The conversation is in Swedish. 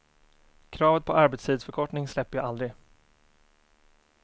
Kravet på arbetstidsförkortning släpper jag aldrig.